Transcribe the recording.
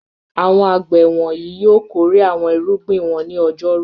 Àwọn àgbẹ̀ yóò wọ̀nyí yóò kórè àwọn irúgbìn wọn ní ọjọ́rú.